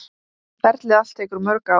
Ferlið allt tekur mörg ár.